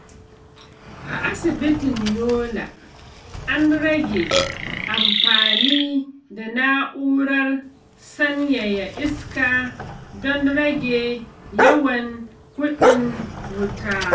A asibitin Yola, an rage amfani da na’urar sanyaya iska don rage yawan kuɗin wuta.